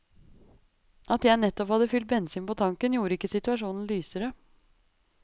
At jeg nettopp hadde fylt bensin på tanken gjorde ikke situasjonen lysere.